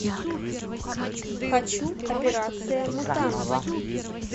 хочу операция мутанты